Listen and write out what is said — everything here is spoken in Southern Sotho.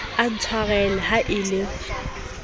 o ntshwarele ha e le